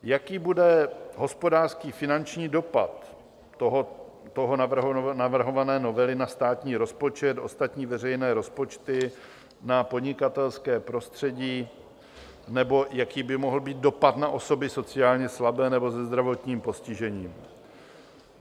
Jaký bude hospodářský, finanční dopad této navrhované novely na státní rozpočet, ostatní veřejné rozpočty, na podnikatelské prostředí, nebo jaký by mohl být dopad na osoby sociálně slabé nebo se zdravotním postižením?